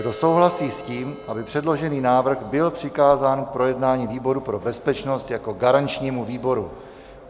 Kdo souhlasí s tím, aby předložený návrh byl přikázán k projednání výboru pro bezpečnost jako garančnímu výboru?